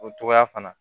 O togoya fana